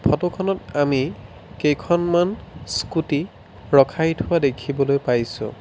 Photo খনত আমি কেইখনমান স্কুটি ৰখাই থোৱা দেখিবলৈ পাইছোঁ।